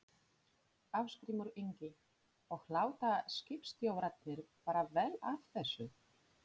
Ásgrímur Ingi: Og láta skipstjórarnir bara vel af þessu?